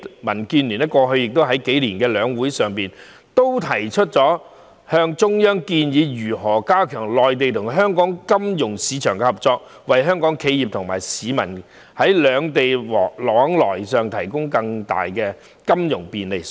民建聯過去數年亦曾在兩會上向中央建議如何加強內地與香港金融市場合作，為香港企業和市民在兩地往來上提供更大的金融便利。